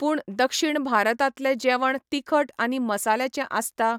पूण दक्षिण भारतांतले जेवण तिखट आनी मसाल्यांचे आसता